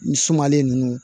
Nin sumalen ninnu